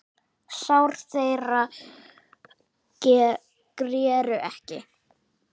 Sár þeirra greru ekki.